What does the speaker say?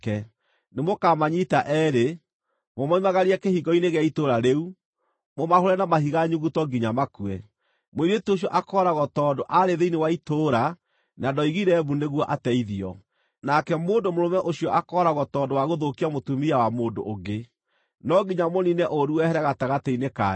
nĩmũkamanyiita eerĩ, mũmoimagarie kĩhingo-inĩ gĩa itũũra rĩu, mũmahũũre na mahiga nyuguto nginya makue; mũirĩtu ũcio akooragwo tondũ aarĩ thĩinĩ wa itũũra na ndoigire mbu nĩguo ateithio, nake mũndũ mũrũme ũcio akooragwo tondũ wa gũthũkia mũtumia wa mũndũ ũngĩ. No nginya mũniine ũũru wehere gatagatĩ-inĩ kanyu.